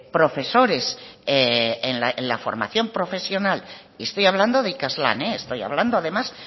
profesores en la formación profesional estoy hablando de ikaslan estoy hablando además